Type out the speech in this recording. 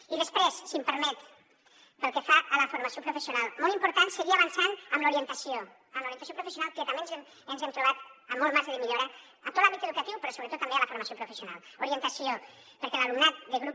i després si em permet pel que fa a la formació professional molt important seguir avançant en l’orientació en l’orientació professional que també ens hem trobat amb molt marge de millora a tot l’àmbit educatiu però sobretot també a la formació professional orientació perquè l’alumnat de grup